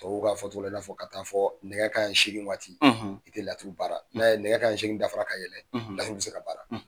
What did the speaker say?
Tubabuw ka fɔ cɔgɔ la, i n'a fɔ ka taa fɔ nɛgɛ kanɲɛ seegin waati, i tɛ laturu baara. N'i y'a ye nɛgɛ kanɲɛ seegin dafara ka yɛlɛ. Laturu bɛ se ka baara.